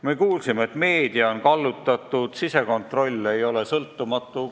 Me kuulsime, et meedia on kallutatud ja sisekontroll ei ole sõltumatu.